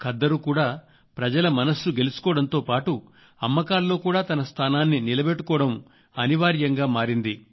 ఖద్దరు కూడా ప్రజల మనస్సు గెలుచుకోవడంతో పాటు అమ్మకాల్లో కూడా తన స్థానాన్ని నిలబెట్టుకోవడం అనివార్యంగా మారింది